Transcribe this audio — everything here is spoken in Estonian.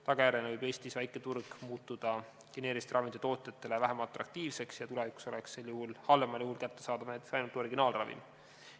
Tagajärjena võib Eestis väike turg muutuda geneeriliste ravimite tootjatele vähem atraktiivseks ja tulevikus oleks siis halvemal juhul kättesaadav näiteks ainult originaalravim.